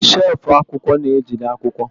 shelfụ akwụkwọ na-ejide akwụkwọ.